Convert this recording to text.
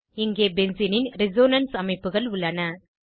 இங்கே பென்சீனின் ரெசோனன்ஸ் அமைப்புகள் உள்ளன